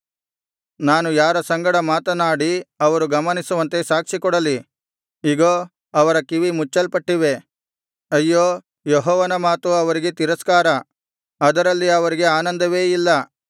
ನಾನು ಯಾರ ಸಂಗಡ ಮಾತನಾಡಿ ಅವರು ಗಮನಿಸುವಂತೆ ಸಾಕ್ಷಿಕೊಡಲಿ ಇಗೋ ಅವರ ಕಿವಿ ಮುಚ್ಚಲ್ಪಟ್ಟಿವೆ ಅಯ್ಯೋ ಯೆಹೋವನ ಮಾತು ಅವರಿಗೆ ತಿರಸ್ಕಾರ ಅದರಲ್ಲಿ ಅವರಿಗೆ ಆನಂದವೇ ಇಲ್ಲ